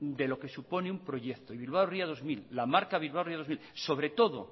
de lo que supone un proyecto y bilbao ría dos mil la marca bilbao ría dos mil sobre todo